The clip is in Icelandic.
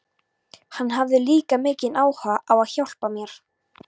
Hann hafði líka mikinn áhuga á að hjálpa mér.